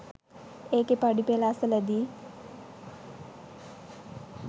ඒකේ පඩිපෙළ අසලදී